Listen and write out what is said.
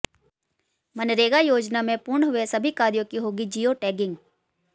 मनरेगा योजना में पूर्ण हुए सभी कार्यों की होगी जियो टेगिंग